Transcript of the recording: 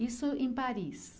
Isso em Paris?